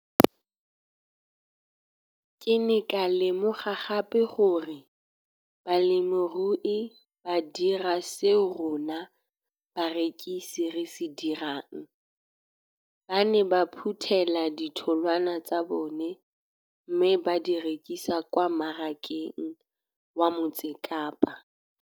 Ke ne ka lemoga gape gore balemirui ba dira seo rona barekisi re se dirang - ba ne ba phuthela ditholwana tsa bona mme ba di rekisa kwa marakeng wa Motsekapa.